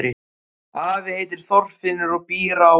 Afi heitir Þorfinnur og býr á